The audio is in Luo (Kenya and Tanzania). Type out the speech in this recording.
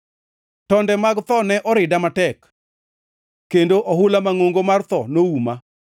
Tonde mag tho ne orida matek; kendo ohula mangʼongo mar tho nouma.